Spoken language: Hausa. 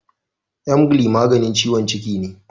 Emgyl maganin ciwon ciki ne.